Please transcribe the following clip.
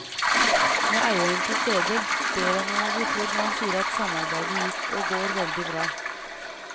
Med eieren til stede ber han om å bli trodd når han sier at samarbeidet gikk og går veldig bra.